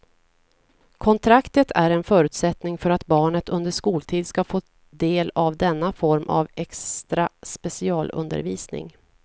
Kontraktet är en förutsättning för att barnet under skoltid ska få del av denna form av extra specialundervisning.